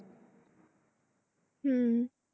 হম